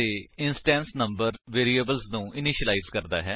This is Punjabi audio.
ਇਹ ਕਲਾਸ ਦੇ ਇੰਸਟੈਂਸ ਨੰਬਰ ਵੈਰਿਏਬਲਸ ਨੂੰ ਇਨਿਸ਼ਿਲਾਇਜ ਕਰ ਸਕਦਾ ਹੈ